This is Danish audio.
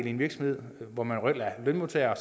en virksomhed hvor man reelt er lønmodtager